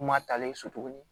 Kuma taalen so tuguni